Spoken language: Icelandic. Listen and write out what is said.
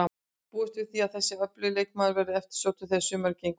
Búist er við því að þessi öflugi leikmaður verði eftirsóttur þegar sumarið gengur í garð.